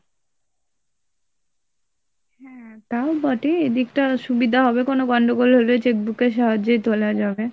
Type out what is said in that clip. হ্যাঁ, তাও বটে এদিকটা সুবিধা হবে কোনো গন্ডগোল হলে cheque book এর সাহায্যে তোলা যাবে।